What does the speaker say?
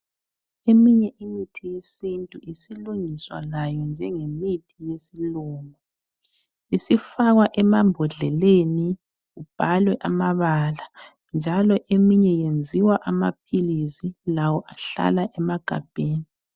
Eminye imithi yesintu isilungiswa layo njenge mithi yesilungu ,isifakwa emambodleleni ibhalwe amabala njalo eminye yenziwa amaphilisi lawo ahlala emagabheni